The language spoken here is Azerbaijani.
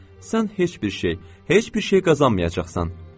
Sən heç bir şey, heç bir şey qazanmayacaqsan.